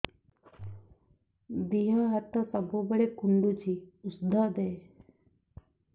ଦିହ ହାତ ସବୁବେଳେ କୁଣ୍ଡୁଚି ଉଷ୍ଧ ଦେ